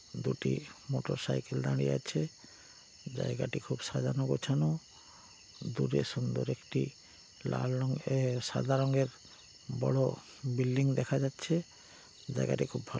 দুটি মোটরসাইকেল দাঁড়িয়ে আছে। জায়গাটি খুব সাজানো গোছানো দূরে সুন্দর একটি লাল রঙের এ- সাদা রঙের বড়ো বিল্ডিং দেখা যাচ্ছে জায়গাটা খুব ভালো।